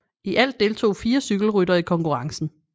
I alt deltog fire cykelryttere i konkurrencen